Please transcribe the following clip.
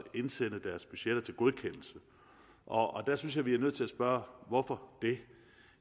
indsende deres budgetter til godkendelse og og der synes jeg vi er nødt til at spørge hvorfor det